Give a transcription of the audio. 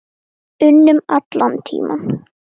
unum allan tímann.